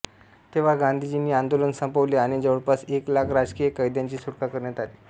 तेव्हा गांधीजींनी आंदोलन संपवले आणि जवळपास एक लाख राजकीय कैद्यांची सुटका करण्यात आली